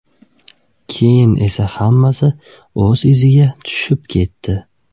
Keyin esa hammasi iziga tushib ketdi.